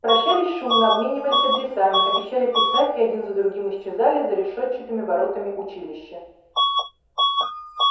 прощались шумно обменивались адресами обещали писать и один за другим исчезали за решетчатыми воротами училища